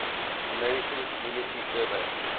american community survey